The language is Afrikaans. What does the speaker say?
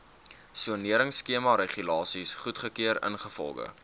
soneringskemaregulasies goedgekeur ingevolge